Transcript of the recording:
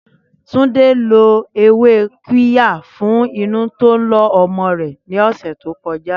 Túndé lo ewé qirya fún inú tó ń lọ ọmọ rẹ̀ ní ọ̀sẹ̀ to koja